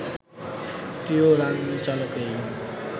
প্রিয়া রানচালকেই